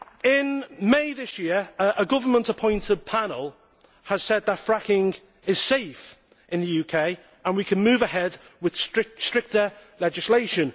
In May this year a government appointed panel said that fracking is safe in the UK and we can move ahead with stricter legislation.